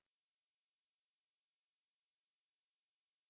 স্বাস্থ্য সেৱা প্ৰক্ৰিয়া কিয় গুৰুত্বপূৰ্ণ?